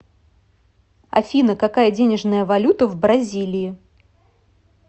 афина какая денежная валюта в бразилии